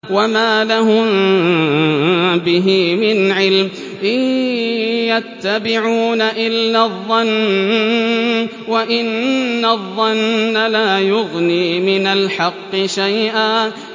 وَمَا لَهُم بِهِ مِنْ عِلْمٍ ۖ إِن يَتَّبِعُونَ إِلَّا الظَّنَّ ۖ وَإِنَّ الظَّنَّ لَا يُغْنِي مِنَ الْحَقِّ شَيْئًا